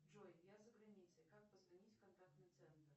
джой я за границей как позвонить в контактный центр